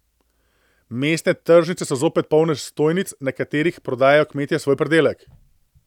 Mestne tržnice so zopet polne stojnic, na katerih prodajajo kmetje svoj pridelek.